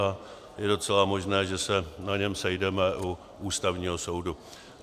A je docela možné, že se na něm sejdeme u Ústavního soudu.